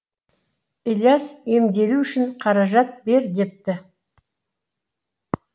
ілияс емделу үшін қаражат бер депті